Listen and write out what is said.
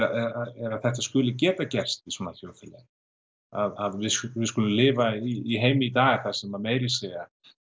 er að þetta skuli geta gerst í svona þjóðfélagi að við skulum við skulum lifa í heimi í dag sem meira að segja